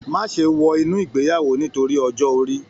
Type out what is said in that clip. Má ṣe wọ inú ìgbéyàwó nítorí ọjọ́ orí